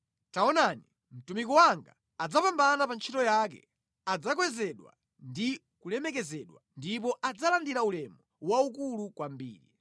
Taonani, mtumiki wanga adzapambana pa ntchito yake adzakwezedwa ndi kulemekezedwa ndipo adzalandira ulemu waukulu kwambiri.